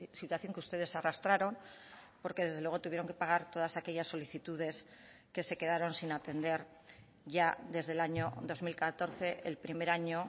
situación que ustedes arrastraron porque desde luego tuvieron que pagar todas aquellas solicitudes que se quedaron sin atender ya desde el año dos mil catorce el primer año